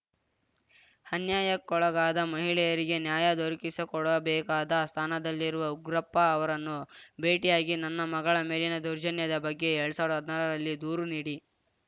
ಅನ್ಯಾಯಕ್ಕೊಳಗಾದ ಮಹಿಳೆಯರಿಗೆ ನ್ಯಾಯ ದೊರಕಿಸಿಕೊಡಬೇಕಾದ ಸ್ಥಾನದಲ್ಲಿರುವ ಉಗ್ರಪ್ಪ ಅವರನ್ನು ಭೇಟಿಯಾಗಿ ನನ್ನ ಮಗಳ ಮೇಲಿನ ದೌರ್ಜನ್ಯದ ಬಗ್ಗೆ ಎಲ್ಡ್ ಸಾವ್ರ್ದಾ ಹದ್ನಾರರಲ್ಲಿ ದೂರು ನೀಡಿ